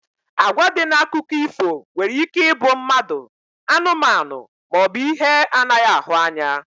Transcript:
Agwa dị na akụkọ ifo nwere ike ịbụ mmadụ, anụmanụ maọbụ ihe anaghị ahụ anya